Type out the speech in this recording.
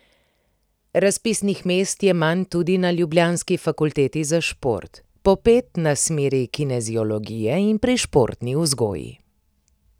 Razpisnih mest je manj tudi na ljubljanski fakulteti za šport, po pet na smeri kineziologije in pri športni vzgoji.